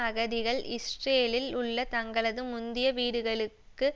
அகதிகள் இஸ்ரேலில் உள்ள தங்களது முந்திய வீடுகளுக்கு